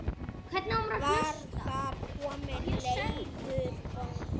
Var þar kominn Leifur bóndi.